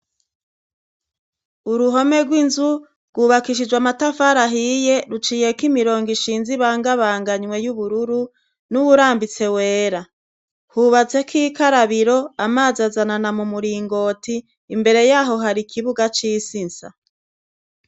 Uruhome rw'inzu rwubakishijwe amatafari ahiye. Ruciyeko imirongo ishinze ibangabanganywe y'ubururu n'uwurambitse wera. Hubatseko ikarabiro, amazi azanana mu muringoti. Imbere y'aho, har'ikibuga c'isi nsa.